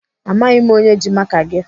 Amaghị m onye ji maka gị.